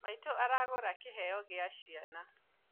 Maitũ aragũra kĩheo kĩa ciana